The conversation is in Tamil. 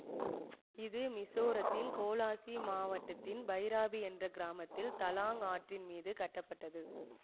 இது மிசோரத்தின் கோலாசிப் மாவட்டத்தின் பைராபி என்ற கிராமத்தில் தலாங் ஆற்றின் மீது கட்டப்பட்டது